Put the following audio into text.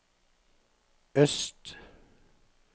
øst